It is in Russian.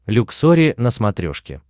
люксори на смотрешке